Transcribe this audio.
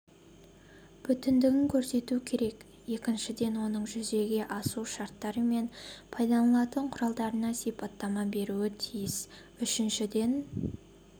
бүтіндігін көрсетуі керек екіншіден оның жүзеге асу шарттары мен пайдаланылатын құралдарына сипаттама беруі тиіс үшіншіден